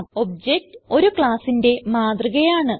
object ഒരു ക്ലാസ്സിന്റെ മാതൃക ആണ്